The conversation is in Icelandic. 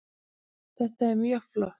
Þetta var mjög flott